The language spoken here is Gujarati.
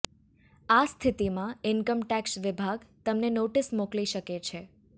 આ સ્થિતીમાં ઈન્કમ ટેક્ષ વિભાગ તમને નોટિસ મોકલી શકે છે